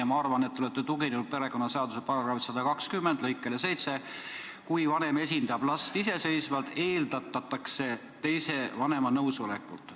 Ja ma arvan, et te olete tuginenud perekonnaseaduse § 120 lõikele 7: "Kui vanem esindab last iseseisvalt, eeldatakse teise vanema nõusolekut.